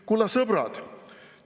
" Kulla sõbrad!